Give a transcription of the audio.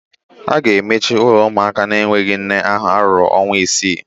A ga-emechi ụlọ ụmụaka na-enweghị nne ahụ ruo ọnwa isii